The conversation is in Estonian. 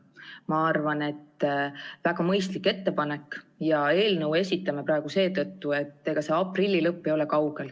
Ma arvan, et see on väga mõistlik ettepanek, ja eelnõu esitame praegu seetõttu, et aprilli lõpp ei ole enam kaugel.